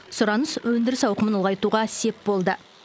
сұраныс өндіріс ауқымын ұлғайтуға сеп болды